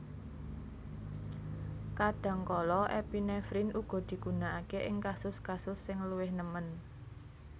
Kadhangkala epinefrin uga digunakake ing kasus kasus sing luwih nemen